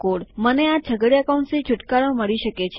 મને આ છગડીયા કૌંસોથી છુટકારો મળી શકે છે